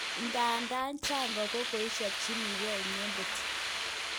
Ndadan janga kokoichapjininge iyengen